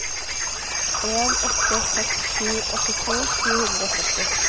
en åtte seks sju åttito sju hundre og sytti